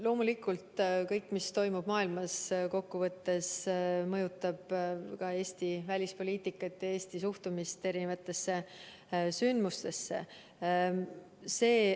Loomulikult kõik, mis toimub maailmas, mõjutab kokkuvõttes ka Eesti välispoliitikat ja Eesti suhtumist erinevatesse sündmustesse.